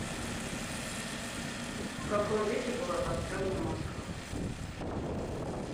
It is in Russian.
в каком веке была построена москва